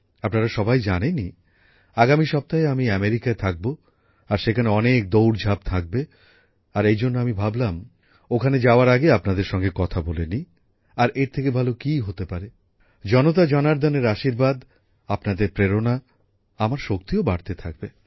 আপনারা সবাই জানেন আগামী সপ্তাহে আমি আমেরিকায় থাকব আর সেখানে অনেক দৌড়ঝাঁপ থাকবে আর এইজন্য আমি ভাবলাম ওখানে যাওয়ার আগে আপনাদের সঙ্গে কথা বলে নি আর এর থেকে ভালো কী হতে পারে জনতাজনার্দনের আশীর্বাদ আপনাদের প্রেরণা আমার শক্তিও বাড়তে থাকবে